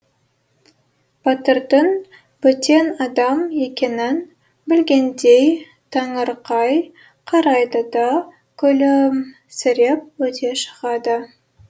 батырдың бөтен адам екенін білгендей таңырқай қарайды да күлімсіреп өте шығады